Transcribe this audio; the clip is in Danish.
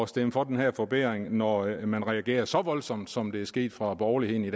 stemme for den her forbedring når man reagerer så voldsomt som det er sket fra borgerlighedens